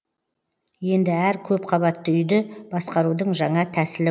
енді әр көп қабатты үйді басқарудың жаңа тәсілі